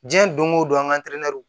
Diɲɛ don o don an ka